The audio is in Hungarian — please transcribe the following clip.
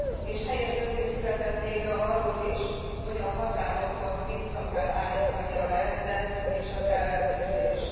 És helyes döntés született végre arról is, hogy a határokon vissza kell állítani a rendet és az ellenőrzést.